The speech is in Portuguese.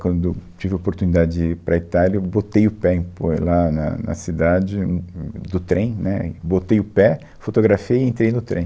Quando eu tive a oportunidade de ir para a Itália, eu botei o pé em por lá na na cidade, hum, hum, do trem, né, e botei o pé, fotografei e entrei no trem.